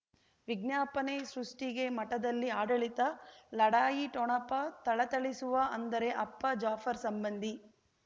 ವಿಜ್ಞಾಪನೆ ಸೃಷ್ಟಿಗೆ ಮಠದಲ್ಲಿ ಆಡಳಿತ ಲಢಾಯಿ ಠೊಣಪ ಥಳಥಳಿಸುವ ಅಂದರೆ ಅಪ್ಪ ಜಾಫರ್ ಸಂಬಂಧಿ